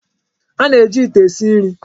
A na-eji ite esi nri.